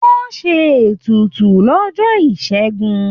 Wọ́n ṣe ètùtù lọ́jọ́ Ìṣẹ́gun.